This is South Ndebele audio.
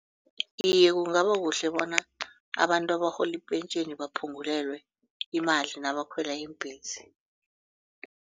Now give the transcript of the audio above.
Iye kungabakuhle bona abantu abarhola ipentjheni baphungulelwe imali nabakhwela iimbhesi.